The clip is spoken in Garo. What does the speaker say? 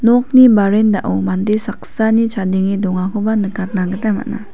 nokni verandah-o mande saksani chadenge dongakoba nikatna gita man·a.